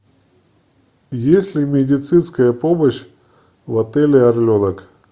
есть ли медицинская помощь в отеле орленок